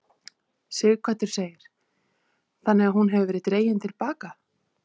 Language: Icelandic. Sighvatur: Þannig að hún hefur verið dregin til baka?